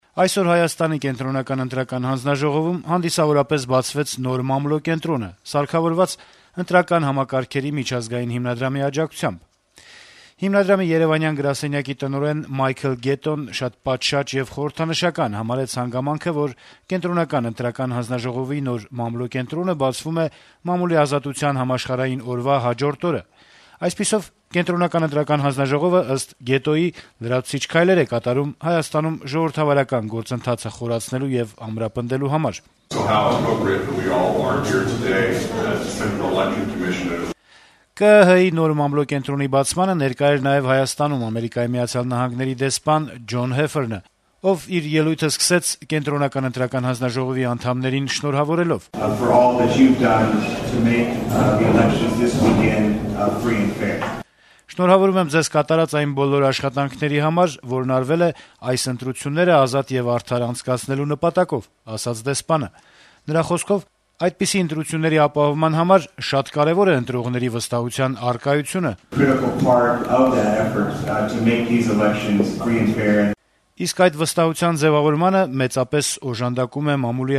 Այսօր Կենտրոնական ընտրական հանձնաժողովում հանդիսավորապես բացվեց նոր մամլո կենտրոնը՝ սարքավորված Ընտրական համակարգերի միջազգային հիմնադրամի աջակցությամբ: Հիմնադրամի երեւանյան գրասենյակի տնօրեն Մայքլ Գետոն շատ պատշաճ եւ խորհրդանշական համարեց հանգամանքը, որ ԿԸՀ-ի նոր մամլո կենտրոնը բացվում է Մամուլի ազատության համաշխարհային օրվա հաջորդ օրը: Այսպիսով, ԿԸՀ-ն, ըստ Գետոյի, լրացուցիչ քայլեր է կատարում Հայաստանում ժողովրդավարական գործընթացը խորցնելու եւ ամրապնդելու համար: Մամլո կենտրոնի բացմանը ներկա էր նաեւ Հայաստանում Միացյալ Նահանգների դեսպան Ջոն Հեֆերնը, ով իր ելույթը սկսեց Կենտրոնական ընտրական հանձնաժողովի անդամներին շնորհավորելով. - «Շնորհավորում եմ ձեզ կատարած այն բոլոր աշխատանքների համար, որն արվել է այս ընտրությունները ազատ եւ արդար անցկացնելու նպատակով»: Դեսպանի խոսքով` այդպիսի ընտրությունների ապահովման համար «շատ կարեւոր է ընտրողների վստահության առկայությունը, իսկ նման վստահության ձեւավորմանը մեծապես օժանդակում է մամուլի